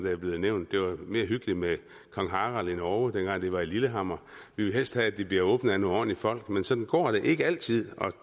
er blevet nævnt det var mere hyggeligt med kong harald i norge den gang det var i lillehammer vi vil helst have at det bliver åbnet af nogle ordentlige folk men sådan går det ikke altid og